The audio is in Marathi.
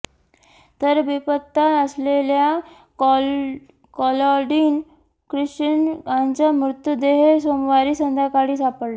तर बेपत्ता असलेल्या क्लॉडिन ख्रिश्चन यांचा मृतदेह सोमवारी संध्याकाळी सापडला